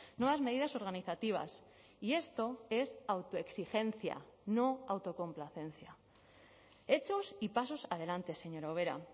nuevas medidas organizativas y esto es autoexigencia no autocomplacencia hechos y pasos adelante señora ubera